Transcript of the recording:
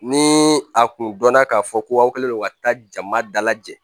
Ni a kun dɔnna k'a fɔ ko aw kɛlen don ka taa jama dalajɛ